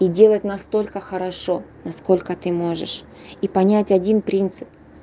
то делать настолько хорошо насколько ты можешь и понять один принцип